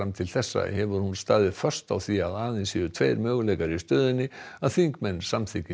til þessa hefur hún staðið föst á því aðeins séu tveir möguleikar í stöðunni að þingmenn samþykki